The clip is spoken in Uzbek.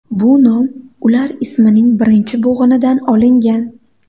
Bu nom ular ismining birinchi bo‘g‘inidan olingan.